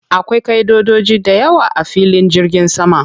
Akwai ƙaʼidodoji dayawa a filin jirgin sama.